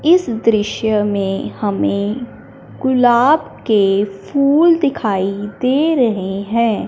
इस दृश्य में हमें गुलाब के फूल दिखाई दे रहे हैं।